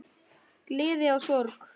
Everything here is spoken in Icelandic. Gleði og sorg.